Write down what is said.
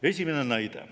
Esimene näide.